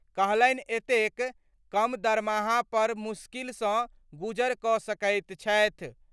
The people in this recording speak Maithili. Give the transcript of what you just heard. कहलनि एतेक कम दरमाहा पर मुश्किल सं गुजर क' सकैत छथि।